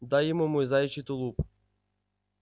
дай ему мой заячий тулуп